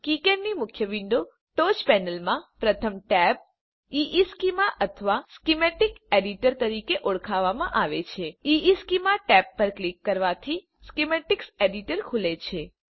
KiCad ની મુખ્ય વિન્ડોની ટોચ પેનલમાં પ્રથમ ટેબ ઇશ્ચેમાં અથવા સ્કિમેટિક્સ એડિટર તરીકે ઓળખવામાં આવે છે ઇશ્ચેમાં ટેબ પર ક્લિક કરવાથી સ્કિમેટિક્સ એડિટર ખુલે છે